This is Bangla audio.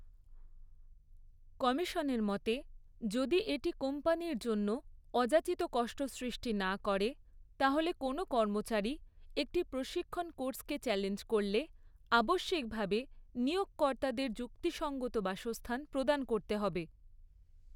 কমিশনের মতে, যদি এটি কোম্পানির জন্য অযাচিত কষ্ট সৃষ্টি না করে তাহলে কোনও কর্মচারী একটি প্রশিক্ষণ কোর্সকে চ্যালেঞ্জ করলে আবশ্যিকভাবে নিয়োগকর্তাদের যুক্তিসঙ্গত বাসস্থান প্রদান করতে হবে।